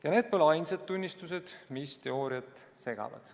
Ja need pole ainsad tunnistused, mis teooriat segavad.